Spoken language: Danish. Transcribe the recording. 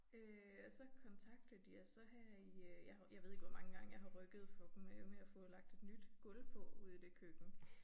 Øh og så kontaktede de os så her i øh jeg har jeg ved ikke hvor mange gange jeg har rykket for dem med med at få lagt et nyt gulv på ude i det køkken